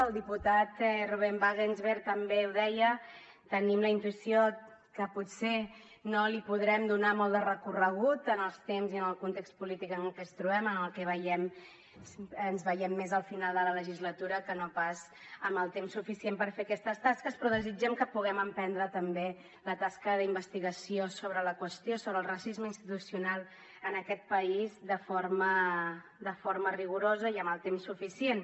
el diputat ruben wagensberg també ho deia tenim la intuïció que potser no li podrem donar molt de recorregut en els temps i en el context polític en què ens trobem en el que ens veiem més al final de la legislatura que no pas amb el temps suficient per fer aquestes tasques però desitgem que puguem emprendre també la tasca d’investigació sobre la qüestió sobre el racisme institucional en aquest país de forma rigorosa i amb el temps suficient